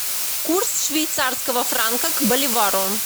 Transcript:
курс швейцарского франка к боливару